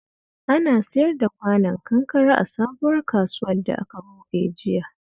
Ana siyar da kwanon kankare a sabuwar kasuwar da aka buɗe jiya